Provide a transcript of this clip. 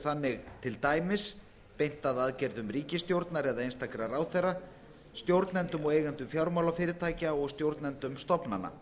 þannig til dæmis beinst að aðgerðum ríkisstjórnar eða einstakra ráðherra stjórnendum og eigendum fjármálafyrirtækja og stjórnendum stofnana